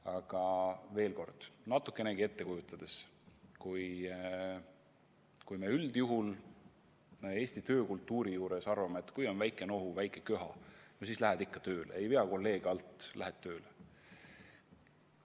Aga veel kord, võib ette kujutada, et üldjuhul on Eesti töökultuuris levinud arvamus, et kui on väike nohu, väike köha, siis lähed ikka tööle – ei vea kolleege alt, lähed tööle.